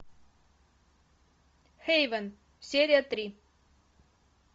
хейвен серия три